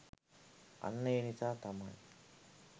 අන්න ඒ නිසා තමයි